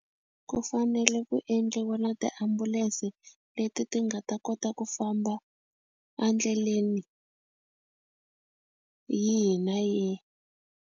Ku fanele ku endliwa na tiambulense leti ti nga ta kota ku famba a ndleleni yihi na yihi.